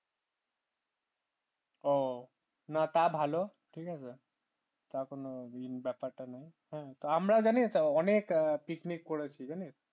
ও না তা ভালো ঠিক আছে তখন ওই দিন ব্যাপারটা নেই তো আমরাও জানি অনেক picnic করেছি জানিস